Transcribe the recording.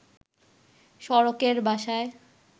সড়কের বাসায়